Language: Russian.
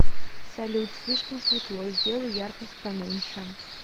салют слишком светло сделай яркость поменьше